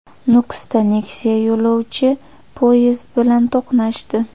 Nukusda Nexia yo‘lovchi poyezdi bilan to‘qnashdi .